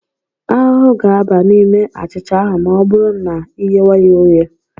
Ahụhụ ga-aba n'ime achịcha ahụ ma ọ bụrụ ma I ghewe ya oghe.